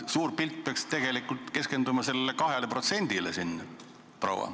Suur pilt peaks tegelikult keskenduma sellele 2%-le siin, proua.